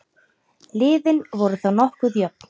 Liðin voru þá nokkuð jöfn.